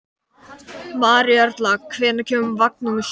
Maríuerla, hvenær kemur vagn númer sjö?